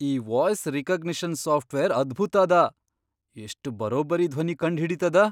ಈ voice recognition software ಅದ್ಭುತ್ ಅದ! ಎಷ್ಟ್ ಬರೊಬ್ಬರಿ ಧ್ವನಿ ಕಂಡ್ ಹಿಡಿತದ!